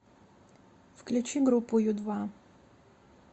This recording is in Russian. включи группу ю два